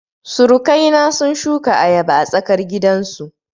Surukai na sun shuka ayaba a tsarkar gidan su